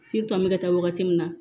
an bɛ ka taa wagati min na